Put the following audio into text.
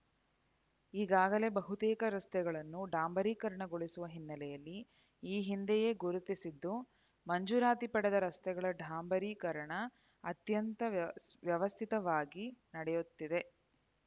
ಈಗಾಗಲೇ ಬಹುತೇಕ ರಸ್ತೆಗಳನ್ನು ಡಾಂಬರೀಕರಣಗೊಳಿಸುವ ಹಿನ್ನೆಲೆಯಲ್ಲಿ ಈ ಹಿಂದೆಯೇ ಗುರುತಿಸಿದ್ದು ಮಂಜೂರಾತಿ ಪಡೆದ ರಸ್ತೆಗಳ ಡಾಂಬರೀಕರಣ ಅತ್ಯಂತ ವ್ಯಸ್ ವ್ಯವಸ್ಥಿತವಾಗಿ ನಡೆಯುತ್ತಿದೆ